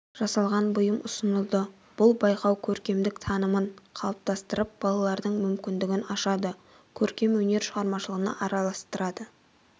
жасалған бұйым ұсынылды бұл байқау көркемдік танымын қалыптастырып балалардың мүмкіндігін ашады көркем өнер шығармашылығына араластырады